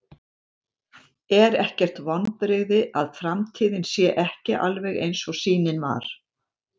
Er ekkert vonbrigði að framtíðin sé ekki alveg eins og sýnin var?